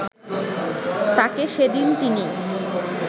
তাঁকে সেদিন তিনি